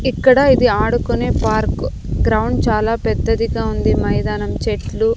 ఇక్కడ ఇది ఆడుకునే పార్క్ గ్రౌండ్ చాలా పెద్దదిగా ఉంది మైదానం చెట్లు--